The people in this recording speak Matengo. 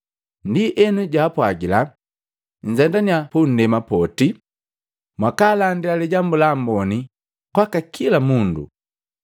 Ndienu, jaapwagila, “Nzendanya pundema poti mwakaalandila Lijambu la Amboni kwaka kila mundu.